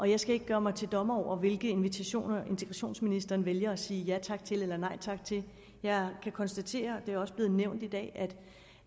jeg skal ikke gøre mig til dommer over hvilke invitationer integrationsministeren vælger at sige ja tak til eller nej tak til jeg kan konstatere og det er også blevet nævnt i dag